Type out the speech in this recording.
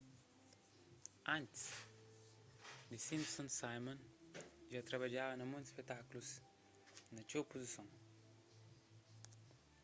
antis the simpsons simon dja trabadjaba na monti spetákulus na txeu puzison